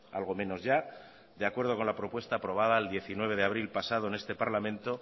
algo menos ya de acuerdo con la propuesta aprobada el diecinueve de abril pasado en este parlamento